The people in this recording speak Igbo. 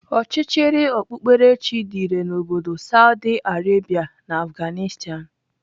Ọchịchịrị ọkpụkperechi dị irè n'obodo Saudi Arabia na Afghanistan.